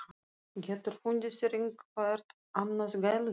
GETUR FUNDIÐ ÞÉR EITTHVERT ANNAÐ GÆLUDÝR!